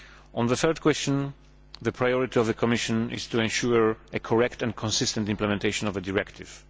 On the third question, the priority of the Commission is to ensure correct and consistent implementation of the directive.